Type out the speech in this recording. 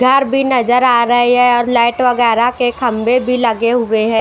तार भी नजर आ रही है और लाइट वगैरा के खंभे भी लगे हुए हैं।